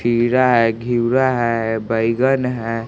खीरा है घिउरा है बैगन है--